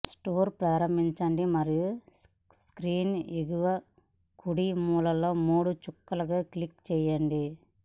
store ప్రారంభించండి మరియు screen ఎగువ కుడి మూలలో మూడు చుక్కలను క్లిక్ చేయండి